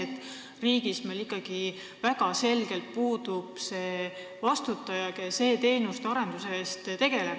Või on asi selles, et meie riigis väga selgelt puudub see vastutaja, kes e-teenuste arendusega tegeleb?